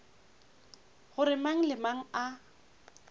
gore mang le mang a